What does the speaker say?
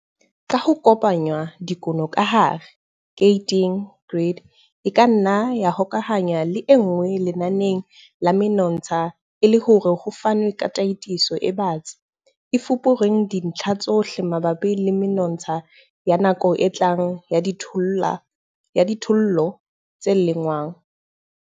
Ka ho kopanya dikuno ka hare, keriti, grid, e ka nna ya hokahanngwa le e nngwe lenaneng la menontsha e le hore ho fanwe ka tataiso e batsi, e fupereng dintlha tsohle mabapi le menontsha ya nako e tlang ya dijothollo tse lengwang.